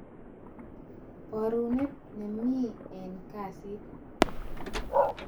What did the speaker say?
Barunet neming eng kasit